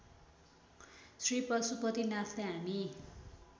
श्री पशुपतिनाथले हामी